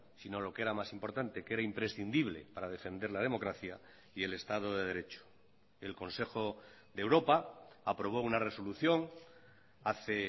sino lo que era más importante que era imprescindible para defender la democracia y el estado de derecho el consejo de europa aprobó una resolución hace